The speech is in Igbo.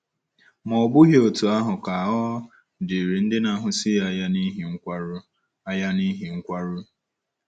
Ma ọ bụghị otú ahụ ka ọ dịrị ndị na-ahụsi anya n’ihi nkwarụ. anya n’ihi nkwarụ.